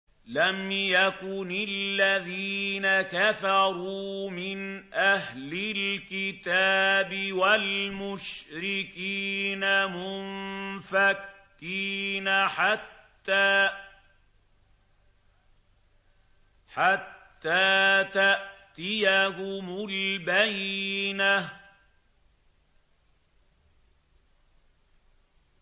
لَمْ يَكُنِ الَّذِينَ كَفَرُوا مِنْ أَهْلِ الْكِتَابِ وَالْمُشْرِكِينَ مُنفَكِّينَ حَتَّىٰ تَأْتِيَهُمُ الْبَيِّنَةُ